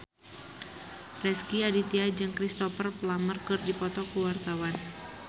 Rezky Aditya jeung Cristhoper Plumer keur dipoto ku wartawan